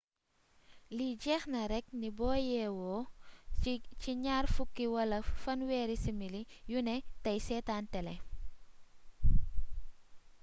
li jéexna rekk ni boo yéwo ci gnaar fukk wala fanwééri simili yuné téy sétan télé